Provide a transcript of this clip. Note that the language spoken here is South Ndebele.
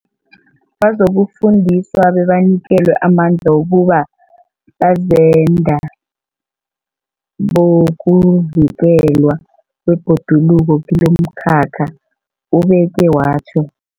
Bazokufundiswa bebanikelwe amandla wokuba bazenda bokuvikelwa kwebhoduluko kilomkhakha, ubeke watjho.